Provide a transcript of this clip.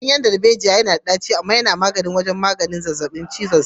Ganyen darbejiya yana da ɗaci amma yana taimakawa wajen magance zazzabin cizon sauro.